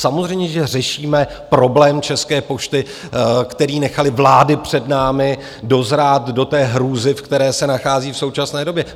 Samozřejmě, že řešíme problém České pošty, který nechaly vlády před námi dozrát do té hrůzy, v které se nachází v současné době.